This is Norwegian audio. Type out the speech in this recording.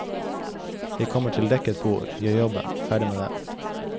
Jeg kommer til dekket bord, gjør jobben, ferdig med det.